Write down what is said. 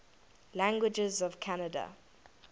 languages of canada